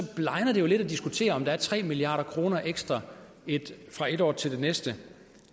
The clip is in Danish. blegner det jo lidt at diskutere om der er tre milliard kroner ekstra fra ét år til det næste